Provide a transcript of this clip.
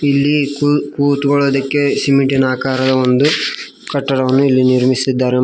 ಇಲ್ಲಿ ಕುಳಿತುಕೊಳ್ಳಕ್ಕೆ ಸಿಮೆಂಟ್ ಆಕಾರದ ಒಂದು ಕಟ್ಟಡವನ್ನು ಇಲ್ಲಿ ನಿರ್ಮಿಸಿದ್ದಾರೆ.